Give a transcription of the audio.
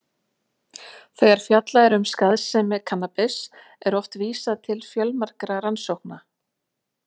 Þegar fjallað er um skaðsemi kannabis er oft vísað til fjölmargra rannsókna.